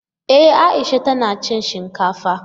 E, Aisha tana cin shinkafa.